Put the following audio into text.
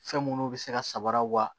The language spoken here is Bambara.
Fɛn munnu bɛ se ka samaraw wa